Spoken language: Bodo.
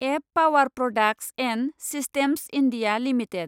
एब power products and systems India limited